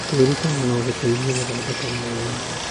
Kwĩrutĩra no gũteithie gũthondeka mawĩra.